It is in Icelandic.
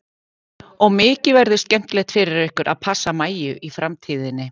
Og mikið verður skemmtilegt fyrir ykkur að passa Maju í framtíðinni.